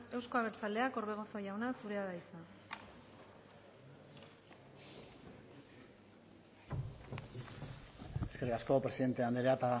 euzko abertzaleak orbegozo jauna zurea da hitza eskerrik asko presidente andrea